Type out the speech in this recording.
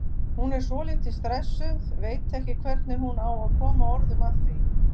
Hún er svolítið stressuð, veit ekki hvernig hún á að koma orðum að því.